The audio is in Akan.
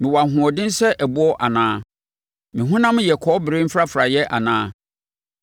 Mewɔ ahoɔden sɛ ɛboɔ anaa? Me honam yɛ kɔbere mfrafraeɛ anaa?